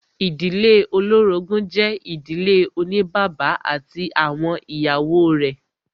Ìdílé olórogún jẹ́ ìdílé oní bàbá ati awọn ìyàwó rẹ̀.